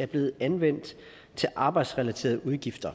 er blevet anvendt til arbejdsrelaterede udgifter